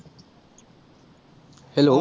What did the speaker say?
hello